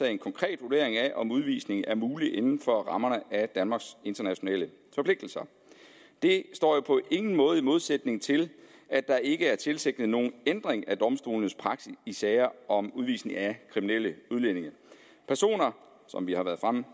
en konkret vurdering af om udvisning er mulig inden for rammerne af danmarks internationale forpligtelser det står jo på ingen måde i modsætning til at der ikke er tilsigtet nogen ændring af domstolenes praksis i sager om udvisning af kriminelle udlændinge som vi har været fremme